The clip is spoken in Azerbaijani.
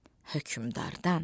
Hökmdardan.